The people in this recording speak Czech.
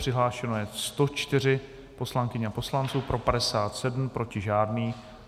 Přihlášeno je 104 poslankyň a poslanců, pro 57, proti žádný.